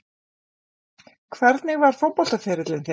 Hvernig var fótboltaferillinn þinn?